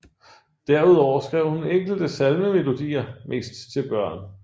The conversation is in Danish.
Derudover skrev hun enkelte salmemelodier mest til sine børn